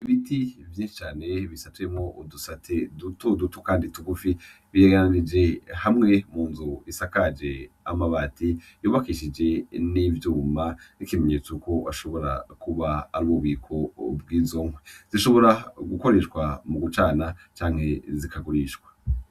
Ibiti vyinshi cane bisatuyemwo udusate duto duto kandi tugufi, biregeranije hamwe mu nzu isakaje amabati, yubakishije n'ivyuma nkikimenyetso ko ashobora kuba ari ubu biko bw'izo nkwi, zishobora gukoreshwa mu gucana canke zikagurishwa.